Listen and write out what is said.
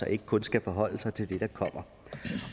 og ikke kun skal forholde sig til det der kommer